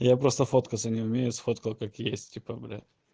я просто фоткаться не умею сфоткал как есть типа блять